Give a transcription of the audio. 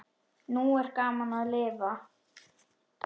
Nú er gaman að lifa!